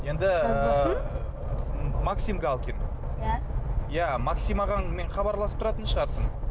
енді ы максим галкин иә иә максим ағаңмен хабарласып тұратын шығарсың